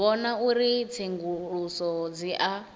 vhona uri tsenguluso dzi a